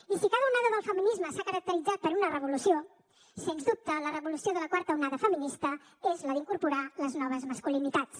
i si cada onada del feminisme s’ha caracteritzat per una revolució sens dubte la revolució de la quarta onada feminista és la d’incorporar les noves masculinitats